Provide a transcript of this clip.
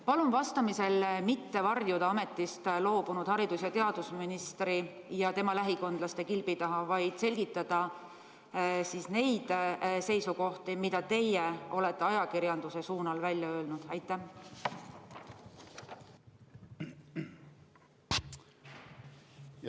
Palun vastamisel mitte varjuda ametist loobunud haridus- ja teadusministri ja tema lähikondlaste kilbi taha, vaid selgitada neid seisukohti, mida te olete ajakirjanduse suunal välja öelnud!